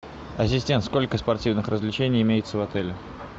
ассистент сколько спортивных развлечений имеется в отеле